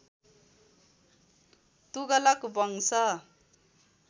तुगलक वंश